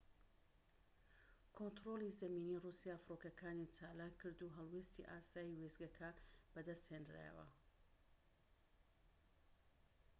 کۆنتڕۆڵی زەمینی ڕووسیا فڕۆکەکانی چالاک کرد و هەڵوێستی ئاسایی وێستگەکە بەدەست هێنرایەوە